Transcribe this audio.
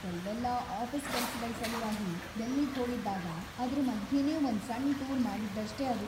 ಕೆಲ್ವೆಲ್ಲ ಆಫೀಸ್ ಕೆಲ್ಸಗಳ್ ಸಲುವಾಗಿ ಡೆಲ್ಲಿಗ್‌ ಹೋಗಿದ್ದಾಗ ಅದ್ರ ಮಧ್ಯೆನೇ ಒಂದ್‌ ಸಣ್ಣ್ ಟೂರ್‌ ಮಾಡಿದ್ದಷ್ಟೇ ಅದು.